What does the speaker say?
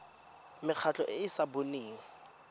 mekgatlho e e sa boneng